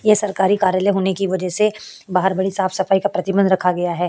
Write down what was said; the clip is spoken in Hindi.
ये सरकारी कार्यालय होने की वजह से बहार बड़ी साफ-सफाई का प्रतिबन्घ रखा गया है।